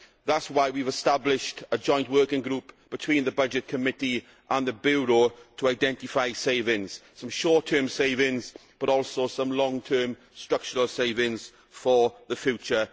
That is why we have established a joint working group between the Committee on Budgets and the Bureau to identify savings some short term savings, but also some long term structural savings for the future.